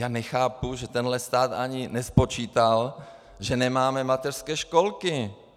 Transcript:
Já nechápu, že tento stát ani nespočítal, že nemáme mateřské školky.